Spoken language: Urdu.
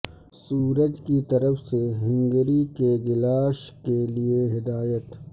سورج کی طرف سے ہنگری کے گلاش کے لئے ہدایت